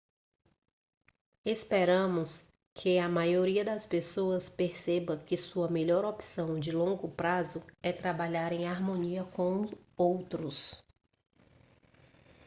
esperamos que a maioria das pessoas perceba que sua melhor opção de longo prazo é trabalhar em harmonia com outros